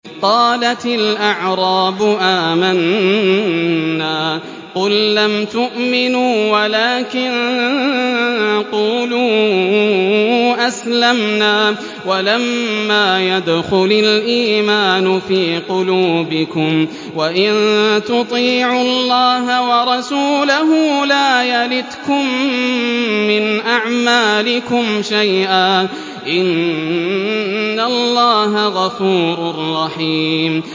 ۞ قَالَتِ الْأَعْرَابُ آمَنَّا ۖ قُل لَّمْ تُؤْمِنُوا وَلَٰكِن قُولُوا أَسْلَمْنَا وَلَمَّا يَدْخُلِ الْإِيمَانُ فِي قُلُوبِكُمْ ۖ وَإِن تُطِيعُوا اللَّهَ وَرَسُولَهُ لَا يَلِتْكُم مِّنْ أَعْمَالِكُمْ شَيْئًا ۚ إِنَّ اللَّهَ غَفُورٌ رَّحِيمٌ